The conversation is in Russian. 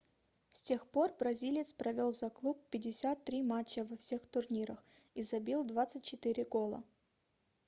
с тех пор бразилец провел за клуб 53 матча во всех турнирах и забил 24 гола